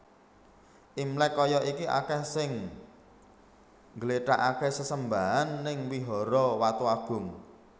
Imlek koyo iki akeh sing ngglethakke sesembahan ning Vihara Watugong